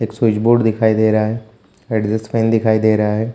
एक स्विच_बोर्ड दिखाई दे रहा है एडजस्ट फैन दिखाई दे रहा है।